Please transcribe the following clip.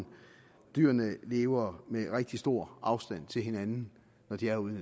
dyrene lever med rigtig stor afstand til hinanden når de er ude